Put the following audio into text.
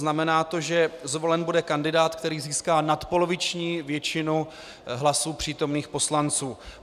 Znamená to, že zvolen bude kandidát, který získá nadpoloviční většinu hlasů přítomných poslanců.